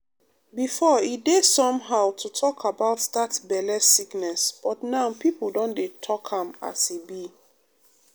befor e um dey somehow um to talk about dat belle sickness but now pipo don dey talk am as e be.